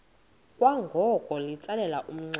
kwangoko litsalele umnxeba